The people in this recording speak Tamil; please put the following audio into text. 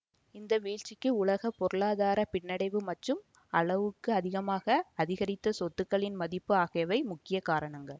இந்த வீழ்ச்சிக்கு உலக பொருளாதார பின்னடைவு மற்றும் அளவுக்கு அதிகமாக அதிகரித்த சொத்துக்களின் மதிப்பு ஆகியவை முக்கிய காரணங்கள்